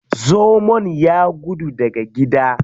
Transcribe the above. Zomon ya gudu daga gida.